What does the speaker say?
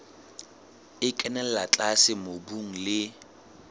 e kenella tlase mobung le